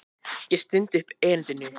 Ég stundi upp erindinu.